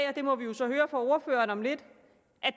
og det må vi så høre fra ordføreren om lidt